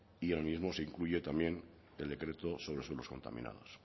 y en el mismo se incluye también el decreto sobre suelos contaminados